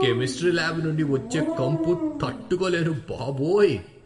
Chemistry lab నుండి వచ్చే కంపు తట్టుకోలేను బాబోయ్!